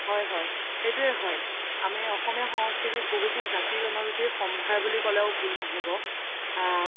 হয় হয় সেইটোয়ে আমি অসমীয়া সংস্কৃতিত বহুতো জাতি জনজাতিৰ সম্ভাৰ বুলি ক্'লেও ভুল নহ্'ব আ